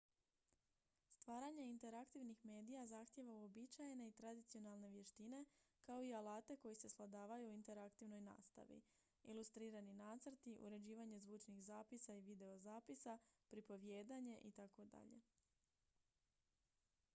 stvaranje interaktivnih medija zahtijeva uobičajene i tradicionalne vještine kao i alate koji se svladavaju u interaktivnoj nastavi ilustrirani nacrti uređivanje zvučnih zapisa i videozapisa pripovijedanje itd.